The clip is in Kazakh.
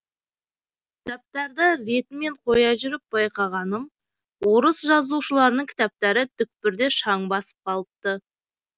кітаптарды ретімен қоя жүріп байқағаным орыс жазушыларының кітаптары түкпірде шаң басып қалыпты